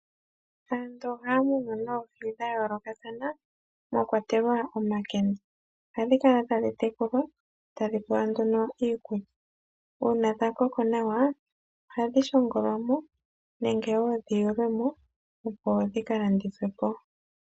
Aantu ohaya munu oohi dha yoolokathana mwa kwatelwa omakende. Ohadhi kala tadhi tekulwa tadhi pewa nduno iikulya. Uuna dha koko nawa ohadhi shongolwamo nenge woo dhi yulwe mo opo dhika landithwe po.